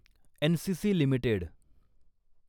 NCC limited